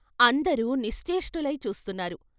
అందరూ నిశ్చేష్టులై చూస్తున్నారు.